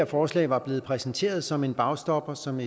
forslag var blevet præsenteret som en bagstopper som